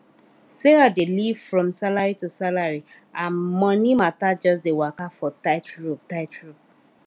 sarah dey live from salary to salary her money matter just dey waka for tight rope tight rope